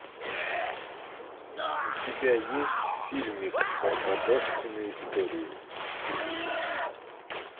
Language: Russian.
у тебя есть фильмик барбадошкины истории